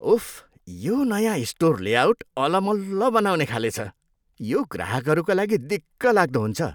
उफ्, यो नयाँ store layout अलमल्ल बनाउने खाले छ। यो ग्राहकहरूका लागि दिक्कलाग्दो हुन्छ।